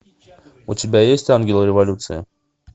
у тебя есть ангелы революции